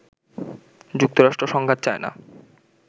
যুক্তরাষ্ট্র সংঘাত চায় না